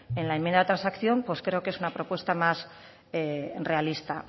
en la enmienda de transacción pues creo que es un propuesta más realista